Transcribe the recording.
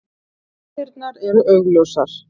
Rústirnar eru augljósar.